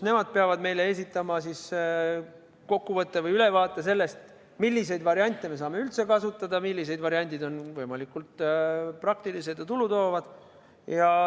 Nemad peavad esitama meile kokkuvõtte või ülevaate sellest, milliseid variante me saame üldse kasutada ning millised variandid on võimalikult praktilised ja tulutoovad.